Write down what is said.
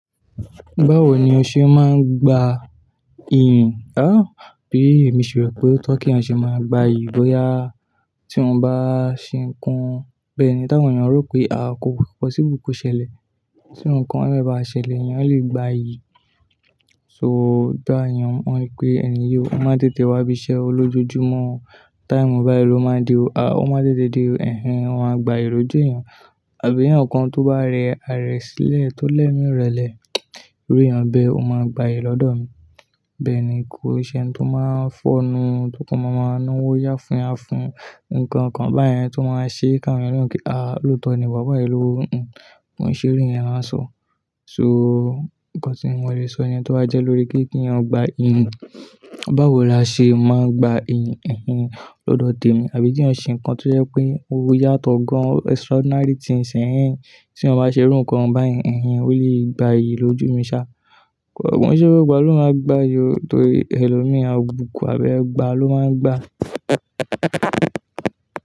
Báwo ni o ṣe máa ń gba iyì? Bí èmi ṣe rò pé ó tọ́ kí ènìyàn ṣe máa gba ìyí bóyá tí wọn bá ṣe nǹkan bẹ́ẹ̀ ni, tá ń àwọn ẹ̀yàn rò pé àà kò possible ko ṣẹlẹ̀. Tí irú ńkan yẹn báṣẹ̀lẹ̀, èèyàn a lè gba iyì. So bí àyàn ń mọ ìpé ènìyàn, ó máa ń tètè wá bí iṣẹ́ olójojúmọ́. Time bá yí ló máa n de o, a ó máa tètè de o. Ẹ̀hehn wọn máa gba ìyi lójú èèyàn. Àbí ẹ̀yàn kan tó bá rẹ ààrẹ sílẹ̀ tó lẹ́mí ìrẹlẹ̀, irú èèyàn bẹ́ẹ̀ ó máa gba ìyí lọ́dọ̀ mi. Bẹ́ẹ̀ ni, kò ṣe ẹni tó máa ń fọ́nu tó kan máa máa na wó yá fún-fún nǹkan kan báyẹn tó máa ṣe kí àwọn èèyàn le mo pé á lóòótọ́ ni, bobo yẹn lówo. Kò n ṣe irú yẹn lán sọ. So nǹkan tí mo lè sọ nìyẹn tó bá jẹ́ lórí pé kí èèyàn gba iyì. Báwo la ṣe máa ń gba iyìn ẹ̀hehn lọ́dọ̀ tèmi, àbí tí ẹ̀yàn ṣe nǹkan tó jẹ́ pé o yá tọ́ gan-an extraordinary things ehnehn. Tí ẹ̀yàn bá ṣe irú nǹkan báyìí, ẹ̀hehn ó lè gba iyì lójú mi sá. Kò n ṣe gbogbo ìgbà lo ma gbayi torí elomi àbùkù àbí ẹgba ló máa ń gba.